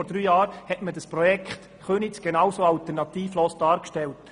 Vor drei Jahren wurde das Projekt Köniz genauso alternativlos dargestellt.